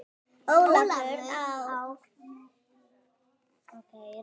Ólafur, á hann þrjú börn.